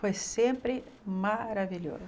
Foi sempre maravilhoso.